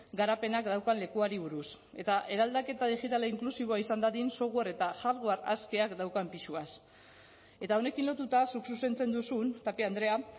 garapenak daukan lekuari buruz eta eraldaketa digitala inklusiboa izan dadin software eta hardware askeak daukan pisuaz eta honekin lotuta zuk zuzentzen duzun tapia andrea